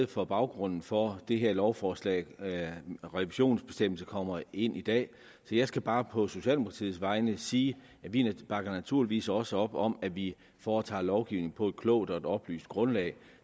for baggrunden for det her lovforslag revisionsbestemmelsen kommer ind i dag så jeg skal bare på socialdemokratiets vegne sige at vi naturligvis også bakker op om at vi foretager lovgivning på et klogt og oplyst grundlag